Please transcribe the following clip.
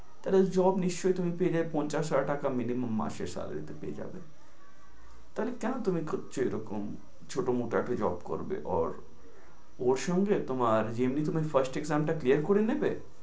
তাহলে job নিশ্চয় তুমি পেয়ে যাবে পঞ্চাশ হাজার টাকা minimum মাসে সারা দিতেই পেয়ে যাবে। তাহলে কেনো তুমি খুঁজছো এই রকম ছোটোমোটো একটা job করবে or ওর সঙ্গে তোমার নিবে।